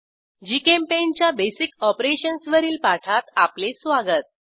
GChemPaint च्या basic operations वरील पाठात आपले स्वागत